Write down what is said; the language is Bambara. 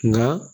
Nka